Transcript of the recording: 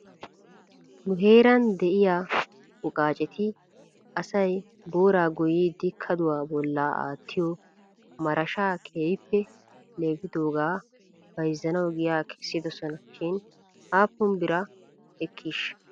Nu heeran de'iyaa wogaacetti asay booraa goyiiddi kaduwaa bolla aattiyoo marashshaa keehippe leefidoogaa bayzzanaw giyaa kessidosona shin aappun bira ekkiishsha?